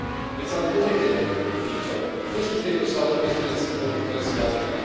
Veď sa len pozrite, Viktor, kde sú v tejto sále umiestnené symboly, ktoré si vážime?